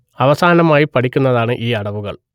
അവസാനമായി പഠിപ്പിക്കുന്നതാണ് ഈ അടവുകൾ